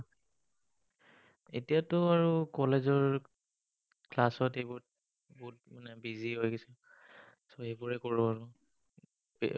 এতিয়াটো আৰু College ৰ class তে বহুত মানে busy হৈ গৈছো। এইবোৰে কৰোঁ আৰু।